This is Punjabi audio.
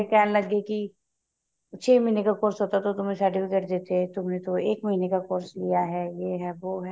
ਕਹਿਣ ਲੱਗੇ ਕੀ ਛੇ ਮਹੀਨੇ ਕਾ course ਹੋਤਾ to ਤੁਮਹੇ ਤੁਮਹੇ ਤੋ ਏਕ ਮਹੀਨੇ ਕਾ course ਲਿਆ ਹੈ ਏ ਹੈ ਵੋ ਹੈ